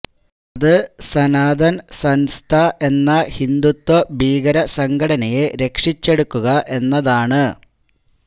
അത് സനാതൻ സൻസ്ഥ എന്ന ഹിന്ദുത്വ ഭീകര സംഘടനയെ രക്ഷിച്ചെടുക്കുക എന്നതാണ്